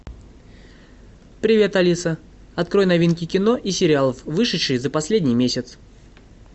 привет алиса открой новинки кино и сериалов вышедшие за последний месяц